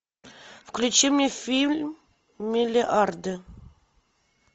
включи мне фильм миллиарды